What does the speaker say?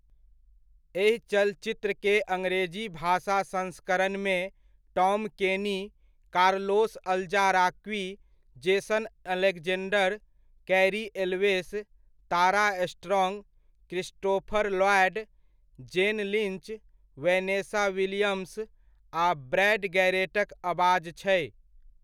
एहि चलचित्र के अङरेजी भाषा संस्करणमे Tom Kenny, Carlos Alazraqui, Jason Alexander, Cary Elwes, Tara Strong, Christopher Lloyd, Jane Lynch, Vanessa Williams, आ ब्रैड गैरेटक अबाज छै।